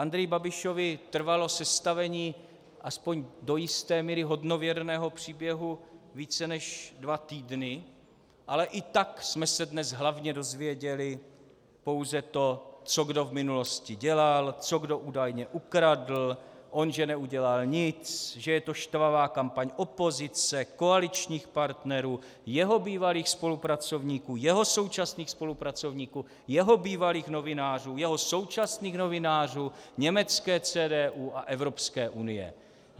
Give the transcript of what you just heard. Andreji Babišovi trvalo sestavení aspoň do jisté míry hodnověrného příběhu více než dva týdny, ale i tak jsme se dnes hlavně dozvěděli pouze to, co kdo v minulosti dělal, co kdo údajně ukradl, on že neudělal nic, že je to štvavá kampaň opozice, koaličních partnerů, jeho bývalých spolupracovníků, jeho současných spolupracovníků, jeho bývalých novinářů, jeho současných novinářů, německé CDU a Evropské unie.